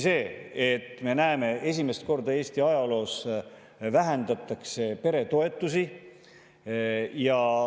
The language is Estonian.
Juhtubki see, et esimest korda Eesti ajaloos vähendatakse peretoetusi.